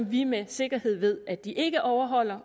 vi med sikkerhed ved at de ikke overholder